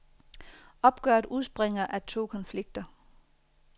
Opgøret udspringer af to konflikter.